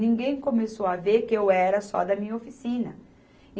Ninguém começou a ver que eu era só da minha oficina.